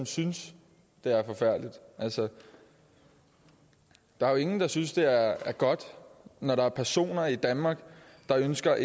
synes det er forfærdeligt altså der er jo ingen der synes det er godt når der er personer i danmark der ønsker